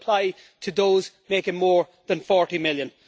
it should apply to those making more than EUR 40 million.